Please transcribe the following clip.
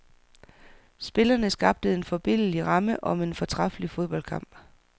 Spillerne skabte en forbilledlig ramme om en fortræffelig fodboldkamp.